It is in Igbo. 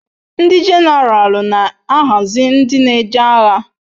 Ndi jeneral na ahazi ndi n'eje agha